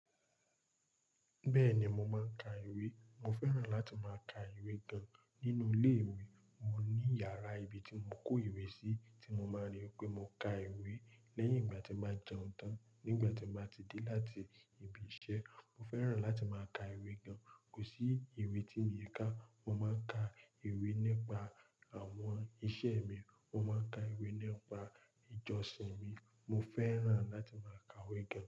Bẹ́ẹ̀ni, mo máa ń ka ìwé. Mo fẹ́ràn láti máa ka ìwé gan-an. Nínú ilé ìwé, mo ní yàrá ibi tí mo kó ìwé sí tí mo máa rí pé mo ka ìwé. Lẹ́yìn ìgbà tí mo jẹun tán, nígbà tí mo ti dé láti ibi iṣẹ́, mo fẹ́ràn láti máa ka ìwé gan-an. Kò sí ìwé tí mii ka. Mo máa ń ka ìwé nípa àwọn iṣẹ́ mi, mo máa ń ka ìwé nípa ìjọsìn mi. Mo fẹ́ràn láti máa ka ìwé gan-an.